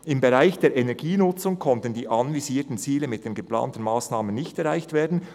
«Im Bereich der Energienutzung konnten die anvisierten Ziele mit den geplanten Massnahmen nicht erreicht werden.